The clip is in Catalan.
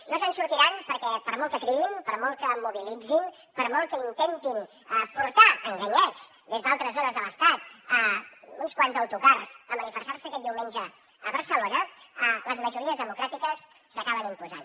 no se’n sortiran perquè per molt que cridin per molt que mobilitzin per molt que intentin portar enganyats des d’altres zones de l’estat uns quants autocars a manifestar se aquest diumenge a barcelona les majories democràtiques s’acaben imposant